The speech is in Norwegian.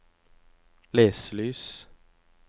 leselys